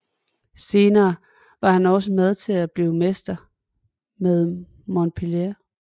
Senere var han også med til at blive mester med Montpellier